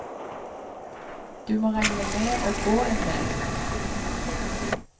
Du må regne med å gå endel.